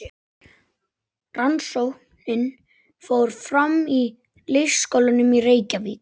Rannsóknin fór fram í leikskólum í Reykjavík.